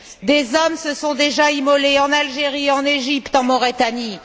Des hommes se sont déjà immolés en Algérie, en Égypte et en Mauritanie.